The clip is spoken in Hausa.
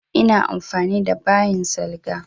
Ina amfani da bayin salga.